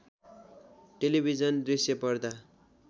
television दृश्य पर्दा